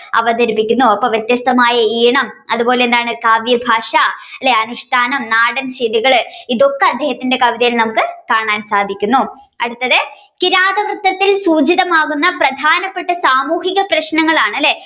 അവതരിപ്പിക്കുന്നു അപ്പൊ വ്യത്യസ്തമായ ഈണം അതുപോലെ തന്നെ എന്താണ് കാവ്യഭാഷ അല്ലെ അനുഷ്ഠാനം നാടൻശൈലികൾ ഇതൊക്കെ അദ്ദേഹത്തിന്റെ കവിതയിൽ കാണാൻ സാധിക്കുന്നു. അടുത്തത് കിരാതവൃത്തത്തിൽ സൂചിതമാകുന്ന പ്രധാനപ്പെട്ട സാമൂഹിക പ്രശ്നങ്ങളാണ് അല്ലേ